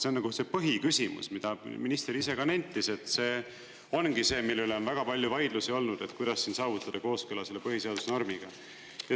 See on see põhiküsimus, mida minister ise ka nentis, et see ongi see, mille üle on väga palju vaidlusi olnud, et kuidas saavutada kooskõla põhiseaduse normiga.